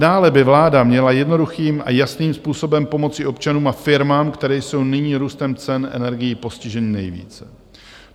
Dále by vláda měla jednoduchým a jasným způsobem pomoci občanům a firmám, které jsou nyní růstem cen energií postiženy nejvíce.